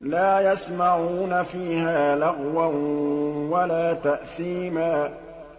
لَا يَسْمَعُونَ فِيهَا لَغْوًا وَلَا تَأْثِيمًا